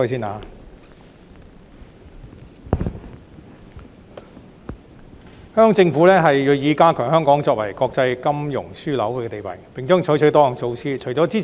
香港政府銳意加強香港作為國際金融樞紐的地位，並將採取多項措施。